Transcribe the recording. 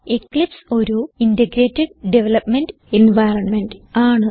Eclipse ഒരു integrated development environment ആണ്